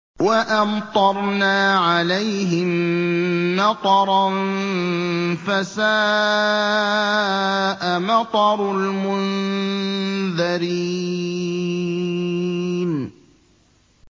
وَأَمْطَرْنَا عَلَيْهِم مَّطَرًا ۖ فَسَاءَ مَطَرُ الْمُنذَرِينَ